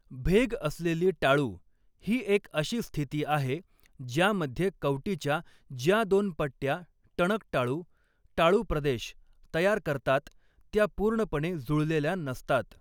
Vague असलेली टाळू ही एक अशी स्थिती आहे, ज्यामध्ये कवटीच्या ज्या दोन पट्ट्या टणक टाळू, टाळूप्रदेश तयार करतात, त्या पूर्णपणे जुळलेल्या नसतात.